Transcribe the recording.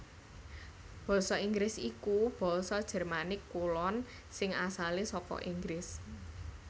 Basa Inggris iku basa Jermanik Kulon sing asalé saka Inggris